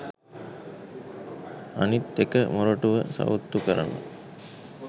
අනිත් එක මොරටුව සවුත්තු කරන්න